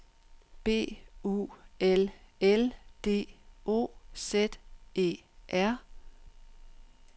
B U L L D O Z E R